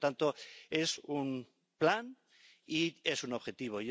Por tanto, es un plan y es un objetivo.